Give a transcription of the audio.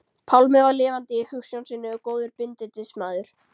Pálmi var lifandi í hugsjón sinni og góður bindindismaður.